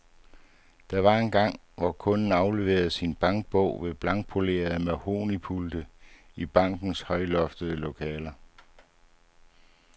Der var engang, hvor kunden afleverede sin bankbog ved blankpolerede mahognipulte i bankernes højloftede lokaler.